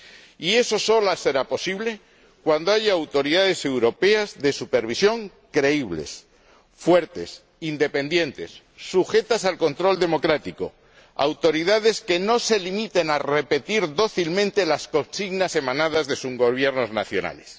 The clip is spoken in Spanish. Y eso solo será posible cuando haya autoridades europeas de supervisión creíbles, fuertes, independientes y sujetas al control democrático, autoridades que no se limiten a repetir dócilmente las consignas emanadas de sus Gobiernos nacionales.